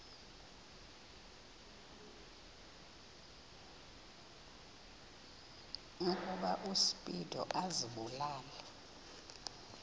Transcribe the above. ukuba uspido azibulale